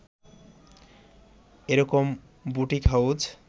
এরকম boutique house